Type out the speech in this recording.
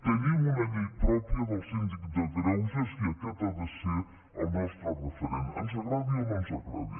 tenim una llei pròpia del síndic de greuges i aquest ha de ser el nostre referent ens agradi o no ens agradi